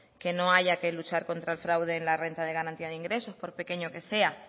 que no haya que luchar contra el fraude en la renta de garantía de ingresos por pequeño que sea